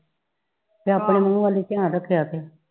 ਮੂੰਹ ਵੱਲ ਹੀ ਧਿਆਨ ਰੱਖਿਆ ਕੇ